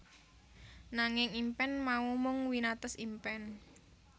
Nanging impen mau mung winates impen